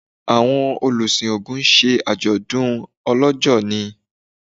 awọn olusin ogún ṣe ajodun olójó ni